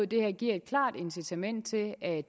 det her giver et klart incitament til at